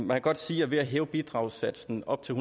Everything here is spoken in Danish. kan godt sige at ved at hæve bidragssatsen op til